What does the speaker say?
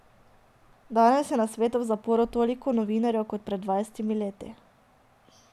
Danes je na svetu v zaporu toliko novinarjev kot pred dvajsetimi leti.